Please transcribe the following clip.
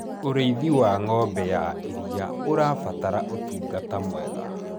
ũrĩithi wa ng'ombe ya iria ũrabatara utungata mwega